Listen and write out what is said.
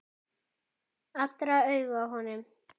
Allra augu á honum.